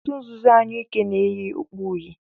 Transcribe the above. òtù nzuzo anyụike na-eyi okpu uhie.